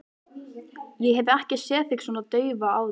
Ég hef ekki séð þig svona daufa áður.